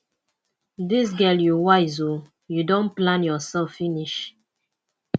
dis girl you wise ooo you don plan yourself finish